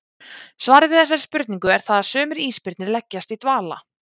Svarið við þessari spurningu er það að sumir ísbirnir leggjast í dvala.